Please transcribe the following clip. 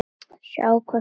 Sjáum hvað setur.